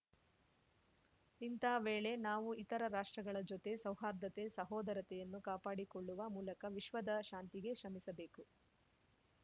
ಇಂಥ ವೇಳೆ ನಾವು ಇತರ ರಾಷ್ಟ್ರಗಳ ಜೊತೆ ಸೌಹಾರ್ದತೆ ಸಹೋದರತೆಯನ್ನು ಕಾಪಾಡಿಕೊಳ್ಳುವ ಮೂಲಕ ವಿಶ್ವದ ಶಾಂತಿಗೆ ಶ್ರಮಿಸಬೇಕು